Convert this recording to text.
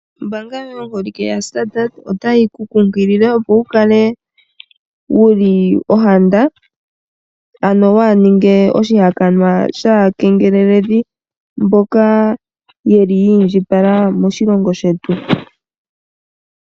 Ombaanga yaStandard Bank otayi kunkilile opo wukale wuli ohanda ano waaninge oshihakanwa shaakengeleli , mboka ye li yiindjipala moshilongo shetu .